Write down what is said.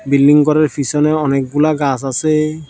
Building গরের ফিসনেও অনেকগুলা গাস আসে।